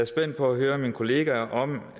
spændt på at høre mine kollegaer om